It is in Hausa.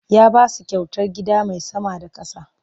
Ya ba su kyautar gida mai sama da ƙasa.